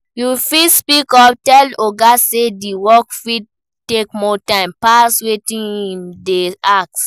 You fit speak up, tell oga sey di work fit take more time pass wetin im dey ask